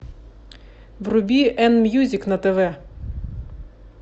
вруби н мьюзик на тв